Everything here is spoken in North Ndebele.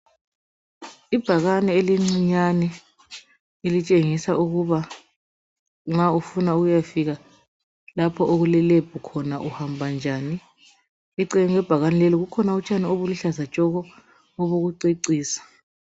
Ibhakane elincinyane elitshengisa ukuba nxa ufuna ukuyafika lapho okule Lebhu khona uhamba njani. Eceleni kwebhakani leli kukhona utshani obuluhlaza tshoko, obokucecisa.